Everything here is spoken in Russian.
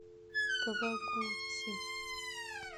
кавагути